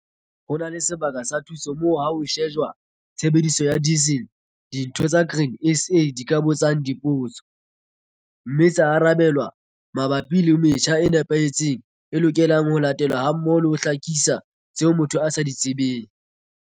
Ho na le sebaka sa thuso moo ha ho shejwa tshebediso ya diesel ditho tsa Grain SA di ka botsang dipotso, mme tsa arabelwa mabapi le metjha e nepahetseng e lokelang ho latelwa hammoho le ho hlakisa tseo motho a sa di tsebeng.